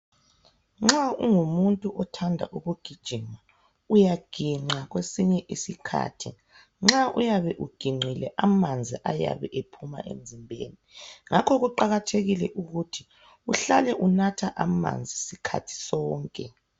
Nxa ungumuntu othanda ukugijima uyaginqa .Kwesinye isikhathi nxa uyabe uginqile amanzi ayabe ephuma emzimbeni ngakho kuqakathekile ukuthi uhlale unatha amanzi sikhathi sonke.